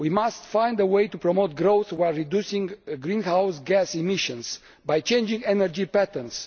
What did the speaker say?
We must find a way to promote growth while reducing greenhouse gas emissions by changing energy patterns.